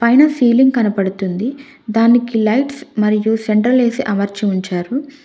పైన సిలింగ్ కనపడుతుంది దానికి లైట్స్ మరియు సెంట్రల్ ఏ_సి అమర్చి ఉంచారు.